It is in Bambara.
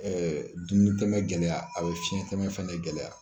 dumunitɛmɛ gɛlɛya a bɛ fiɲɛtɛmɛ fɛnɛ gɛlɛya